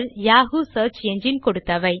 Yahoo search engine கொடுத்தவை